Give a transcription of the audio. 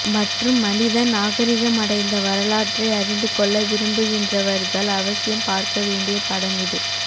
மற்றும் மனிதன் நாகரீகமடைந்த வரலாற்றை அறிந்து கொள்ள விரும்புகின்றவர்கள் அவசியம் பார்க்க வேண்டிய படமிது